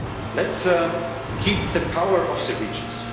important. Let's keep the power of